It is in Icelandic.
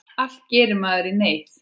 Allt gerir maður í neyð.